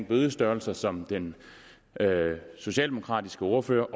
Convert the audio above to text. bødestørrelser som den socialdemokratiske ordfører